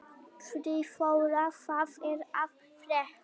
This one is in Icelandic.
Friðþóra, hvað er að frétta?